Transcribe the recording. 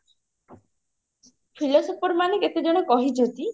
philosopher ମାନେ କେତେଜଣ କହିଛନ୍ତି